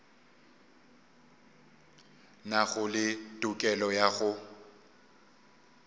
nago le tokelo ya go